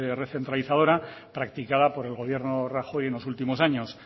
recentralizadora practicada por el gobierno de rajoy en los últimos años